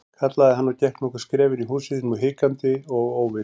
kallaði hann og gekk nokkur skref inn í húsið, nú hikandi og óviss.